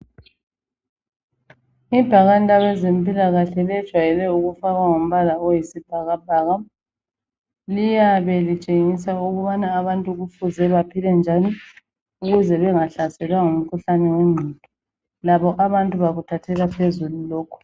Ibhakane labezempilahle ,lejwayele ukufakwa ngombala oyisibhakabhaka .Liyabe litshengisa ukubana abantu Kufuze baphile njani ukuze bengahlaselwa ngumkhuhlane wengqondo .Labo abantu bakuthathela phezulu lokho.